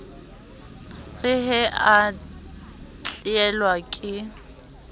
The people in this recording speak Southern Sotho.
re he a tlelwa ke